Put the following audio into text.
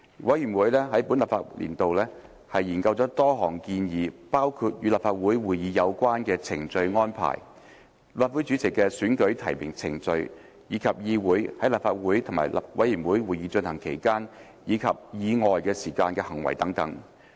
委員會在本立法年度內研究了多項議題，包括與立法會會議有關的程序安排、立法會主席的選舉提名程序，以及議員在立法會和委員會會議進行期間及以外時間的行為等。